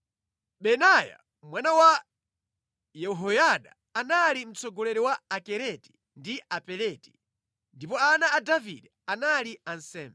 Benaya mwana wa Yehoyada anali mtsogoleri wa Akereti ndi Apeleti; ndipo ana a Davide anali ansembe.